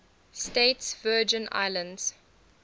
states virgin islands